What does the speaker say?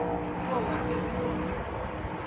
kuwo wonke umuntu